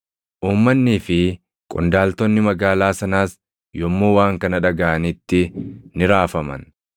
Uummannii fi qondaaltonni magaalaa sanaas yommuu waan kana dhagaʼanitti ni raafaman.